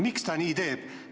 Miks ta nii teeb?